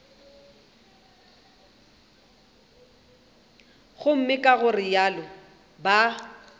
gomme ka go realo ba